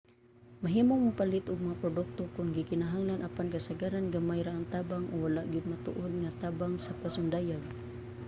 mahimong mopalit og mga produkto kon gikinahanglan apan kasagaran gamay ra ang tabang o wala gyud matuod nga tabang sa pasundayag